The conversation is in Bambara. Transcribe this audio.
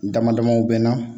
Dama damaw bɛ n na